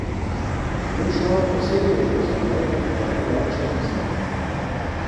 Jevšovar posebej opozarja na dva domača bisera.